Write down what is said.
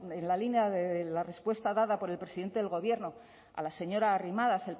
en la línea de la respuesta dada por el presidente del gobierno a la señora a arrimadas